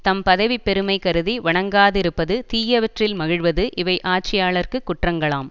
தம் பதவி பெருமை கருதி வணங்காதிருப்பது தீயவற்றில் மகிழ்வது இவை ஆட்சியாளர்க்குக் குற்றங்களாம்